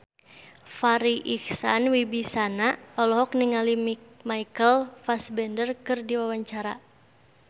Farri Icksan Wibisana olohok ningali Michael Fassbender keur diwawancara